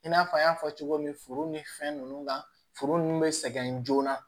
I n'a fɔ an y'a fɔ cogo min foro ni fɛn ninnu kan foro nunnu bɛ sɛgɛn joona